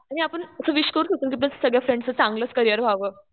आणि आपण असं विश करू शकतो कि आपल्या सगळ्या फ्रेंड्सचं चांगलंच करियर व्हावं.